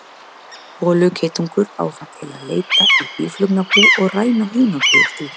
Holugeitungur á það til að leita í býflugnabú og ræna hunangi úr því.